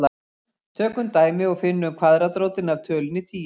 Tökum dæmi og finnum kvaðratrótina af tölunni tíu.